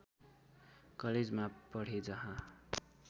कलेजमा पढे जहाँ